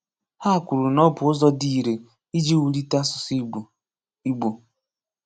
Ha kwuru na ọ bụ ụzọ dị ire iji wulite asụsụ Igbo. Igbo.